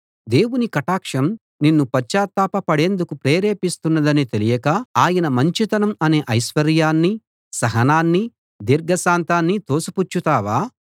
దేవుని కటాక్షం నిన్ను పశ్చాత్తాప పడేందుకు ప్రేరేపిస్తున్నదని తెలియక ఆయన మంచితనం అనే ఐశ్వర్యాన్నీ సహనాన్నీ దీర్ఘశాంతాన్నీ తోసిపుచ్చుతావా